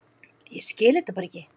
Ég skil þetta bara ekki.